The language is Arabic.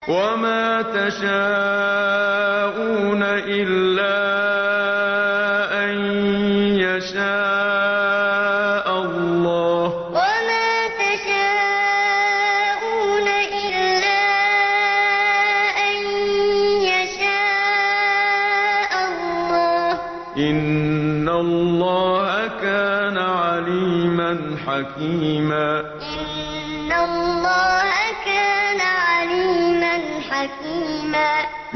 وَمَا تَشَاءُونَ إِلَّا أَن يَشَاءَ اللَّهُ ۚ إِنَّ اللَّهَ كَانَ عَلِيمًا حَكِيمًا وَمَا تَشَاءُونَ إِلَّا أَن يَشَاءَ اللَّهُ ۚ إِنَّ اللَّهَ كَانَ عَلِيمًا حَكِيمًا